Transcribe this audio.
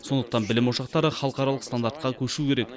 сондықтан білім ошақтары халықаралық стандартқа көшу керек